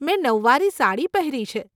મેં નવવારી સાડી પહેરી છે.